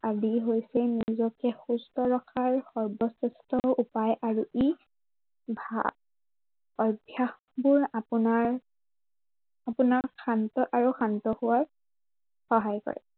আদি হৈছে নিজেক সুস্থ ৰখাৰ সৰ্বশ্ৰেষ্ঠ উপায় আৰু ই অভ্য়াসবোৰ আপোনাৰ আপোনাক শান্ত আৰু শান্ত হোৱাত সহায় কৰে।